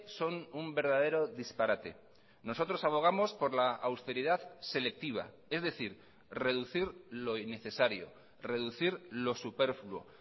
son un verdadero disparate nosotros abogamos por la austeridad selectiva es decir reducir lo innecesario reducir lo superfluo